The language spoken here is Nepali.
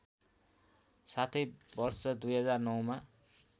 साथै वर्ष २००९ मा